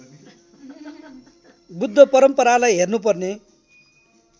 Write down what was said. बुद्ध परम्परालाई हेर्नुपर्ने